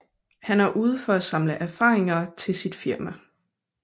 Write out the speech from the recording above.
Han er ude for at samle erfaringer til sit firma